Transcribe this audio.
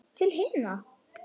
Til himna!